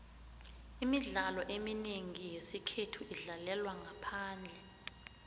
imidlalo eminengi yesikhethu idlalelwa ngaphandle